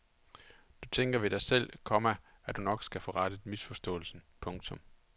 Du tænker ved dig selv, komma at du nok skal få rettet misforståelsen. punktum